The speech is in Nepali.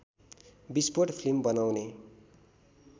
विस्फोट फिल्म बनाउने